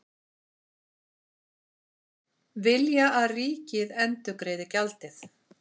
Vilja að ríkið endurgreiði gjaldið